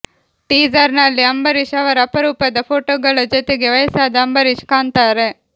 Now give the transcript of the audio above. teaser ನಲ್ಲಿ ಅಂಬರೀಶ್ ಅವರ ಅಪರೂಪದ ಫೋಟೋಗಳ ಜೊತೆಗೆ ವಯಸ್ಸಾದ ಅಂಬರೀಶ್ ಕಾಣ್ತಾರೆ